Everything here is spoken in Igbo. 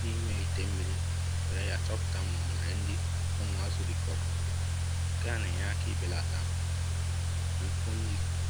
n'ime ite mmiri were ya chọpụta ma onwere nri ụmụ azụ rifọrọ. Nke a n-enye aka ibelata mfu nri